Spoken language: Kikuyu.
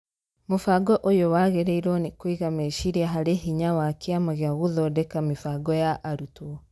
Mũbango ũyũ wagĩrĩirwo nĩ kũiga meciria harĩ hinya wa Kĩama gĩa gũthondeka mĩbango ya arutwo